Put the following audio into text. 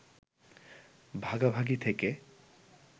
ভাগাভাগি থেকে